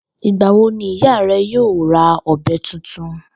Ìgbà wo ni ìyá re̩ yóò ra ò̩be̩ tuntun?